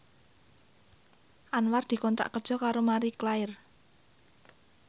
Anwar dikontrak kerja karo Marie Claire